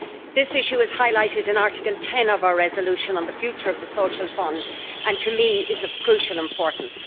This issue is highlighted in Article 10 of our resolution on the future of the Social Fund and is, to me, of crucial importance.